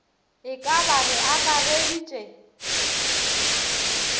e ka ba re akareditše